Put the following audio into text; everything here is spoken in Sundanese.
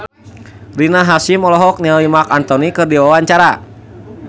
Rina Hasyim olohok ningali Marc Anthony keur diwawancara